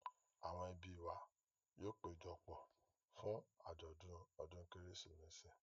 Àwọn ẹbí wa yóò péjọ pọ̀ fún àjọ̀dún ọdún Kérésìmesì.